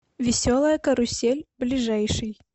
веселая карусель ближайший